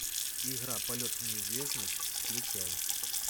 игра полет в неизвестность включай